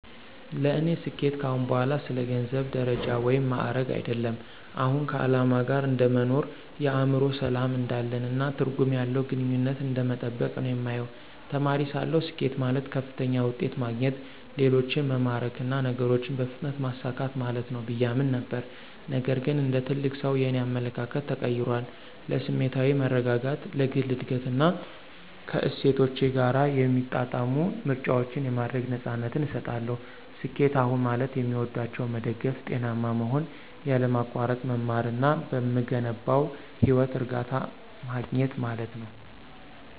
ለእኔ ስኬት ከአሁን በኋላ ስለ ገንዘብ፣ ደረጃ ወይም ማዕረግ አይደለም። አሁን ከዓላማ ጋር እንደ መኖር፣ የአእምሮ ሰላም እንዳለን፣ እና ትርጉም ያለው ግንኙነትን እንደመጠበቅ ነው የማየው። ተማሪ ሳለሁ፣ ስኬት ማለት ከፍተኛ ውጤት ማግኘት፣ ሌሎችን መማረክ እና ነገሮችን በፍጥነት ማሳካት ማለት ነው ብዬ አምን ነበር። ነገር ግን እንደ ትልቅ ሰው, የእኔ አመለካከት ተቀይሯል. ለስሜታዊ መረጋጋት፣ ለግል እድገት እና ከእሴቶቼ ጋር የሚጣጣሙ ምርጫዎችን የማድረግ ነፃነትን እሰጣለሁ። ስኬት አሁን ማለት የሚወዷቸውን መደገፍ፣ ጤናማ መሆን፣ ያለማቋረጥ መማር እና በምገነባው ህይወት እርካታ ማግኘት ማለት ነው።